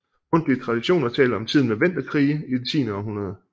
Mundtlige traditioner taler om tiden med venderkrige i det tiende århundrede